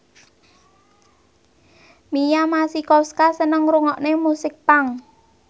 Mia Masikowska seneng ngrungokne musik punk